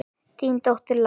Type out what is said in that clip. Þín dóttir, Lára.